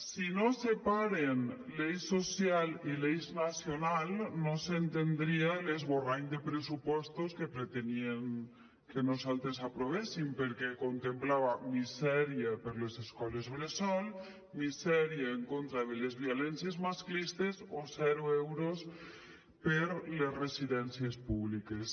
si no es separen l’eix social i l’eix nacional no s’entendria l’esborrany de pressupostos que pretenien que nosaltres aprovéssim perquè contemplava misèria per a les escoles bressol misèria en contra de les violències masclistes o zero euros per a les residencies públiques